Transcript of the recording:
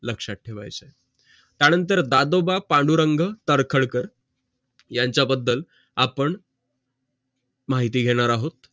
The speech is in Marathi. लक्षात ठेवायचं आहे त्या नंतर दादोबा पांडुरंग तर्खडकर यांचा बद्दल आपण माहिती घेणार आहोत लक्षात ठेवायचं